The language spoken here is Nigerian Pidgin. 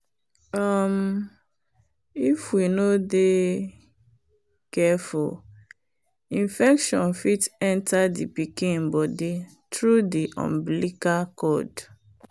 um if we no de careful infection fit enter the pikin body through the umbilical cord.